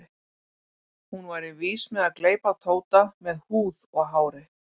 Hún væri vís með að gleypa Tóta með húð og hári.